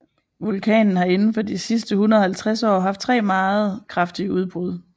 Vulkanen har indenfor de sidste 150 år haft tre meget kraftige udbrud